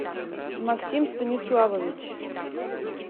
максим станиславович